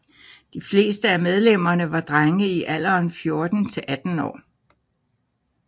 De fleste af medlemmerne var drenge i alderen 14 til 18 år